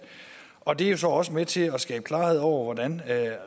og det er jo så også med til at skabe klarhed over hvordan